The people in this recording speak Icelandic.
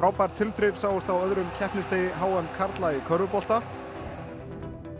frábær tilþrif sáust á öðrum keppnisdegi h m karla í körfubolta